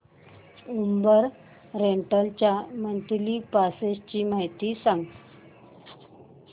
Uber rental च्या monthly passes ची माहिती सांग